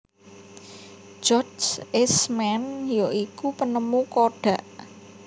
George Eastman ya iku penemu kodak